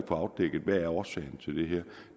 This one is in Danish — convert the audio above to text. afdækket hvad der er årsagen til det her